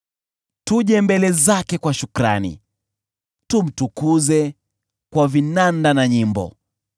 Tuje mbele zake kwa shukrani, tumtukuze kwa vinanda na nyimbo.